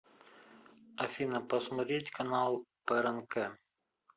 афина посмотреть канал прнк